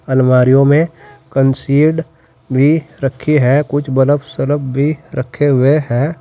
अलमारियों में कंसीड भी रखी हैं। कुछ बलब सलब भी रखे हुए हैं।